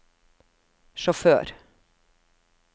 sjåfør